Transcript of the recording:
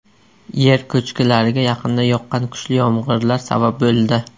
Yer ko‘chkilariga yaqinda yoqqan kuchli yomg‘irlar sabab bo‘ldi.